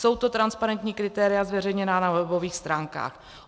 Jsou to transparentní kritéria zveřejněná na webových stránkách.